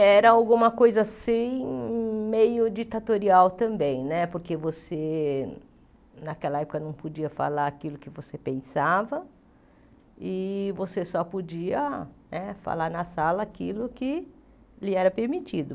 Era alguma coisa assim meio ditatorial né também, porque você naquela época não podia falar aquilo que você pensava e você só podia né falar na sala aquilo que lhe era permitido.